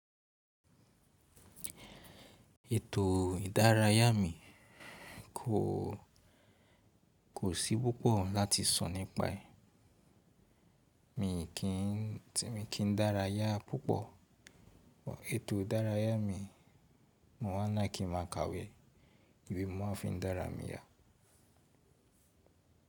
Ètò ìdárayá mi kò, kò sí púpọ̀ láti sọ̀ nípa ẹ. Mi kì n dáráyá púpọ̀. Ètò ìdárayá mi mo ma ń like kí nmá a kàwé, ìwé ni mo ma fi ń dárà mí yá.